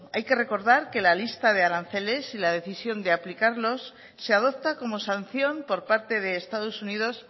hay que recordar que la lista de aranceles y la decisión de aplicarlos y se adopta como sanción por parte de estados unidos